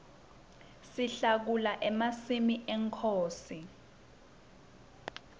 sihlakula emasimi enkhosi